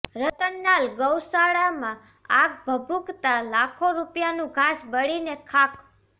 રતનાલ ગૌશાળામાં આગ ભભૂકતાં લાખો રૂપિયાનું ઘાસ બળીને ખાખ